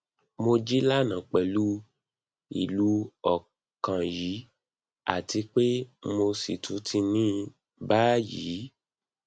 mo jí lánàá pẹlú ilú ọkàn yìí àti pé mo sì tún ní báyìí